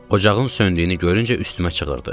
Ocağın söndüyünü görüncə üstümə çığırdı.